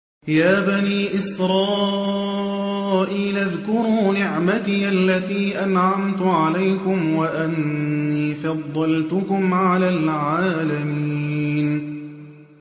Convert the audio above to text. يَا بَنِي إِسْرَائِيلَ اذْكُرُوا نِعْمَتِيَ الَّتِي أَنْعَمْتُ عَلَيْكُمْ وَأَنِّي فَضَّلْتُكُمْ عَلَى الْعَالَمِينَ